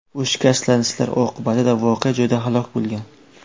U shikastlanishlar oqibatida voqea joyida halok bo‘lgan.